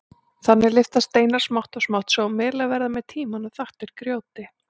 Þannig lyftast steinar smátt og smátt svo að melar verða með tímanum þaktir grjóti.